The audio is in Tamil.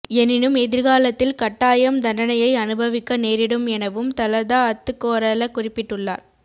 எனினும் எதிர்காலத்தில் கட்டாயம் தண்டனையை அனுபவிக்க நேரிடும் எனவும் தலதா அத்துக்கோரள குறிப்பிட்டுள்ளார்